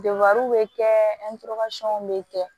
bɛ kɛ bɛ kɛ